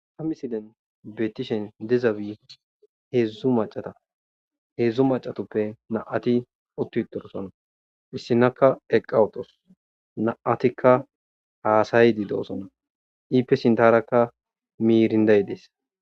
a misilen beetishen dizabii heedzdzu macata heedzdzu macatoppe naati uttu torosona issinakka eqqawutos naatikka haasay di do7osona iippe sintarakka miirinday dees